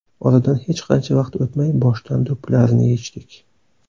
Oradan hech qancha o‘tmay boshdan do‘ppilarni yechdik.